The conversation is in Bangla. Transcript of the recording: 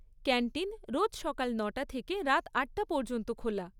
ক্যান্টিন রোজ সকাল নটা থেকে রাত আটটা পর্যন্ত খোলা।